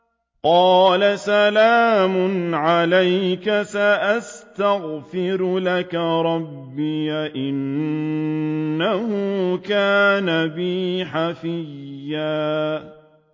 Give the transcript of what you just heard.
قَالَ سَلَامٌ عَلَيْكَ ۖ سَأَسْتَغْفِرُ لَكَ رَبِّي ۖ إِنَّهُ كَانَ بِي حَفِيًّا